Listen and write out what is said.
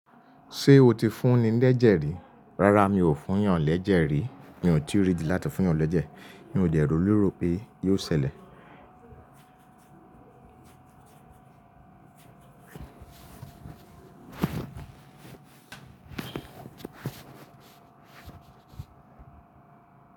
Ṣé o ti fún ni lẹ́jẹ̀ rí? Rárá mi ò fún yàn lẹ́jẹ̀ rí. Mi ò tí ì rí ìdí láti fún yàn lẹ́jẹ̀. Mi ò dẹ̀ ròó lérò pé yóò ṣẹlẹ̀.